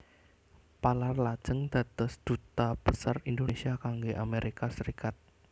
Palar lajeng dados Duta Besar Indonesia kangge Amerika Serikat